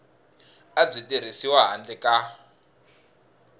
a byi tirhisiwi handle ka